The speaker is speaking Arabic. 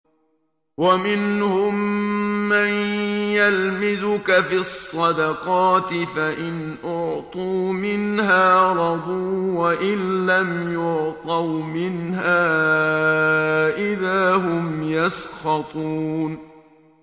وَمِنْهُم مَّن يَلْمِزُكَ فِي الصَّدَقَاتِ فَإِنْ أُعْطُوا مِنْهَا رَضُوا وَإِن لَّمْ يُعْطَوْا مِنْهَا إِذَا هُمْ يَسْخَطُونَ